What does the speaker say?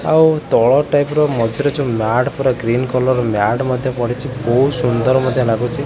ଆଉ ତଳ ଟାଇପ୍ ର ମଝିରେ ଯୋଉ ମ୍ୟାଟ୍ ପରା ଗ୍ରୀନ କଲରର ମ୍ୟାଟ୍ ମଧ୍ୟ ପଡ଼ିଛି ବହୁତ୍ ସୁନ୍ଦର୍ ମଧ୍ୟ ଲାଗୁଚି।